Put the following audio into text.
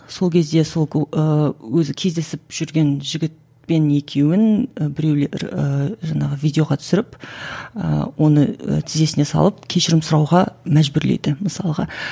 сол кезде сол ыыы өзі кездесіп жүрген жігітпен екеуін і біреулер ііі жаңағы видеоға түсіріп ііі оны тізесіне салып кешірім сұрауға мәжбүрлейді мысалға